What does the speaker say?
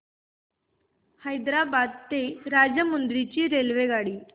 हैदराबाद ते राजमुंद्री ची रेल्वेगाडी